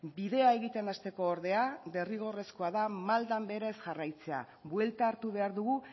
bidea egiten hasteko ordea derrigorrezkoa da maldan behera ez jarraitzea buelta hartu behar dugu